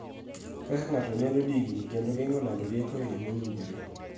Kaka ng�ato nyalo digni kendo geng�o lando rieko e yoo mowinjore.